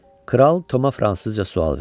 Kral Tomaya fransızca sual verdi.